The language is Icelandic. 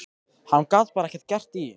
Hann gat bara ekkert að því gert.